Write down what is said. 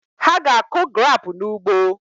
Ha ga-akụ grapụ n'ugbo